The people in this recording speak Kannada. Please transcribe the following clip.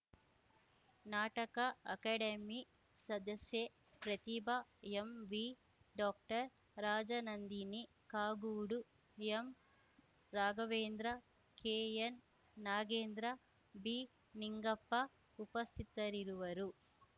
ನಾಟಕ ಅಕಾಡೆಮಿ ಸದಸ್ಯೆ ಪ್ರತಿಭಾ ಎಂವಿ ಡಾಕ್ಟರ್ ರಾಜನಂದಿನಿ ಕಾಗೋಡು ಎಂರಾಘವೇಂದ್ರ ಕೆಎನ್‌ನಾಗೇಂದ್ರ ಬಿ ನಿಂಗಪ್ಪ ಉಪಸ್ಥಿತರಿರುವರು